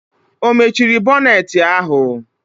Ọ mechiri bọnetị ahụ?